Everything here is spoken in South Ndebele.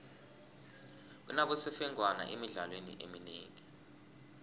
kunabosemfengwana emidlalweni eminengi